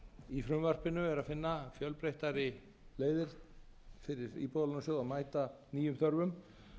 í frumvarpinu er að finna fjölbreyttari leiðir fyrir íbúðalánasjóð að mæta nýjum þörfum